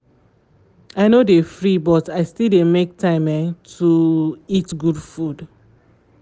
i no dey free but i still dey make time um to um eat good food